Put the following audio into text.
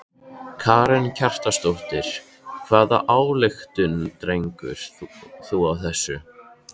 Karen Kjartansdóttir: Hvaða ályktun dregur þú af þessu?